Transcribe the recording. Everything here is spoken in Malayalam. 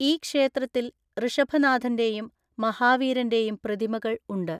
ഈ ക്ഷേത്രത്തിൽ ഋഷഭനാഥൻ്റെയും മഹാവീരൻ്റെയും പ്രതിമകൾ ഉണ്ട്.